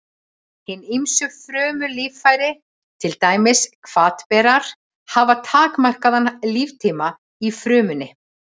Hin ýmsu frumulíffæri, til dæmis hvatberar, hafa takmarkaðan líftíma í frumunni.